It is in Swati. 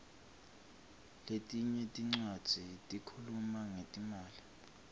letinye tincwadzi tikhuluma ngetimali